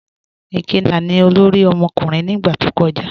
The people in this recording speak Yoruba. Ikenna ni ọlọ́rì ọmọkùnrin ni igba tó kọja.